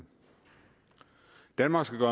danmark skal